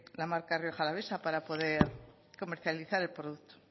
la marca rioja alavesa para poder comercializar el producto